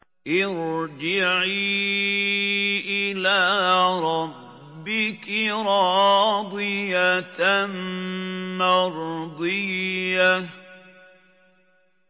ارْجِعِي إِلَىٰ رَبِّكِ رَاضِيَةً مَّرْضِيَّةً